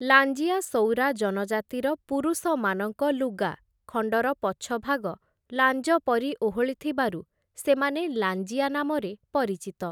ଲାଞ୍ଜିଆ ସଉରା ଜନଜାତିର ପୁରୁଷମାନଙ୍କ ଲୁଗା ଖଣ୍ଡର ପଛଭାଗ ଲାଞ୍ଜ ପରି ଓହଳିଥିବାରୁ ସେମାନେ ଲାଞ୍ଜିଆ ନାମରେ ପରିଚିତ ।